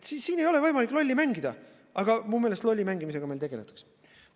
Siin ei ole võimalik lolli mängida, aga minu meelest lolli mängimisega meil tegeldakse.